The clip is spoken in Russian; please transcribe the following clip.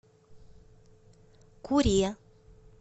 куре